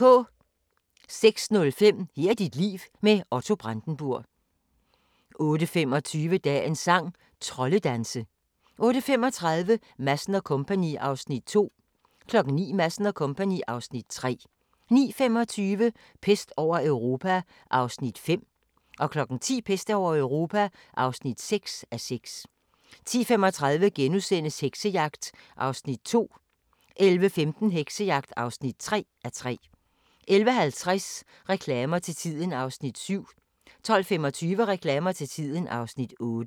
06:05: Her er dit liv – med Otto Brandenburg 08:25: Dagens sang: Troldedanse 08:35: Madsen & Co. (Afs. 2) 09:00: Madsen & Co. (Afs. 3) 09:25: Pest over Europa (5:6) 10:00: Pest over Europa (6:6) 10:35: Heksejagt (2:3)* 11:15: Heksejagt (3:3) 11:50: Reklamer til tiden (Afs. 7) 12:25: Reklamer til tiden (Afs. 8)